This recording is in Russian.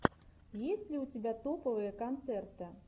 есть ли у тебя топовые концерты